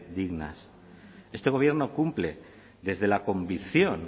dignas este gobierno cumple desde la convicción